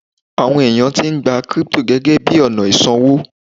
àwọn eyan ti n gba crypto gẹgẹ bí ọnà isanwo